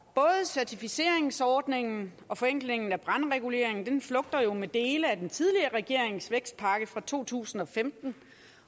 certificeringsordningen og forenklingen af brandreguleringen flugter jo med dele af den tidligere regerings vækstpakke fra to tusind og femten